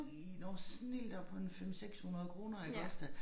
I når snildt op på en 5 600 kroner iggås da